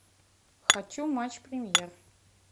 хочу матч премьер